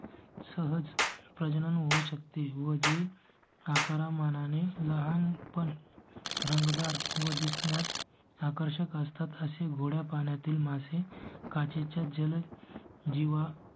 सहज प्रजनन होऊ शकते व जी आकारमाना ने लहान पण रंग दार व दिसण्यात आकर्षक असतात असे गोड्या पाण्या तील मासे काचे च्या जल जीव